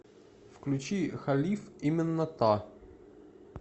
включи халиф именно та